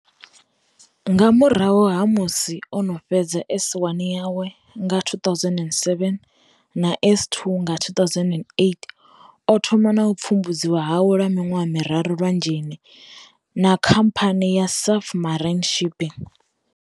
Nga murahu ha musi o no fhedza S1 yawe nga 2007 na S2 nga 2008 o thoma na u pfumbudziwa hawe lwa miṅwaha miraru lwanzheni, na Khamphani ya Safmarine Shipping.